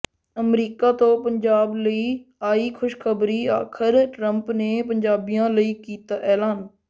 America ਤੋਂ ਪੰਜਾਬ ਲਈ ਆਈ ਖੁਸ਼ਖਬਰੀ ਆਖਰ ਟਰੰਪ ਨੇ ਪੰਜਾਬੀਆਂ ਲਈ ਕੀਤਾ ਐਲਾਨ